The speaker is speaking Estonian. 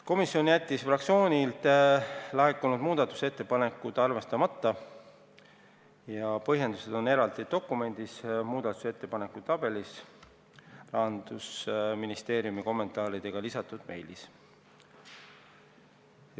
Komisjon jättis fraktsioonilt laekunud muudatusettepanekud arvestamata, selle põhjendused on eraldi dokumendis, muudatusettepanekute tabelis Rahandusministeeriumi kommentaaridega lisatud meilis.